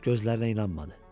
Gözlərinə inanmadı.